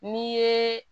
N'i yeee